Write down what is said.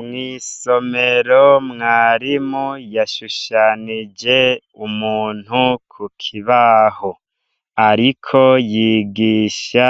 Mwisomero mwarimu yashushanije umuntu kukibaho ariko yigisha